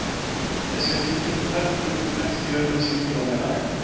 Ég skal hringja til Hrefnu og þú leggst í önnur símtöl á meðan.